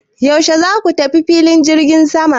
Yaushe za ku tafi filin jirgin sama?